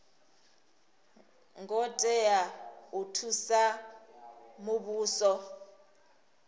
ngo tea u thusa muvhuso